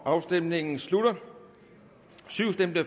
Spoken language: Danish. afstemningen slutter